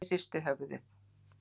Svenni hristir höfuðið.